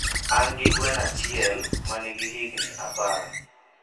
Angi gweno ahiel manigi higni apar